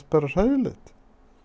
bara hræðilegt